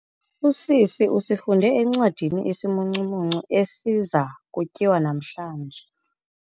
Usisi usifunde encwadini isimuncumuncu esiza kutyiwa namhlanje.